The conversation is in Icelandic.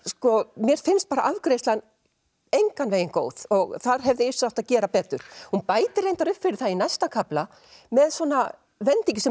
mér finnst afgreiðslan engan veginn góð þar hefði Yrsa átt að gera betur hún bætir reyndar upp fyrir það í næsta kafla með svona vendingu sem